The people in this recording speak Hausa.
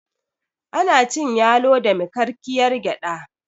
ana cin yalo da mikakkiyar gyada